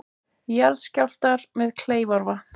Jarðskjálftar við Kleifarvatn